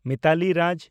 ᱢᱤᱛᱟᱞᱤ ᱨᱟᱡᱽ